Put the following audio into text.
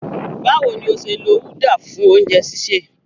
Báwo ni o ṣe lo uda fún oúnjẹ sísè?